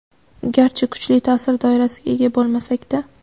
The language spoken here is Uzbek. garchi kuchli taʼsir doirasiga ega bo‘lmasak-da.